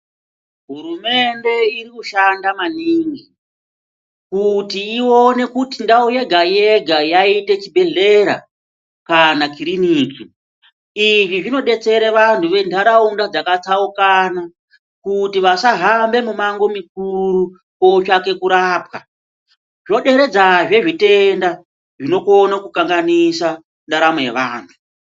Hurumende irikushanda maningi kuti ione kuti ndau yega yega yaite chibhehlera kana kiriniki, izvi zvinodetsere vantu ventaraunda dzakatsaukana kuti vasahambe mumangu mukuru kutsvake kurapwa. Zvoderedzazve zvitenda zvinogone kukanganisa ntaramo yevantu.